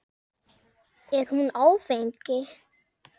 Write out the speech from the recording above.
Er hún áfeng?